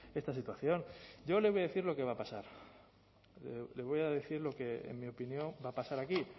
esta situación yo le voy decir lo que va a pasar lo le voy a decir lo que en mi opinión va a pasar aquí